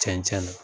Cɛncɛn na